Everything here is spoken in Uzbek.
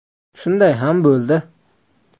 Shunday ham bo‘ldi.